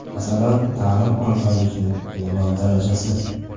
Masalan, ta’lim olganlikning minimal darajasi.